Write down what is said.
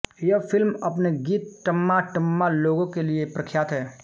यह फिल्म अपने गीत टम्मा टम्मा लोगे के लिये प्रख्यात है